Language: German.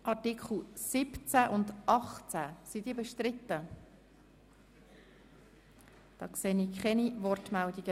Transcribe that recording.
Wir haben ab Artikel 19 nun einen grossen Artikelblock vor uns.